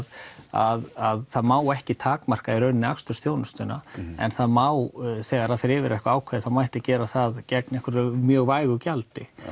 að það má ekki takmarka í rauninni akstursþjónustuna en það má þegar það fer yfir eitthvað ákveðið þá mætti gera það gegn einhverju mjög vægu gjaldi